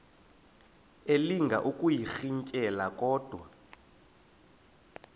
elinga ukuyirintyela kodwa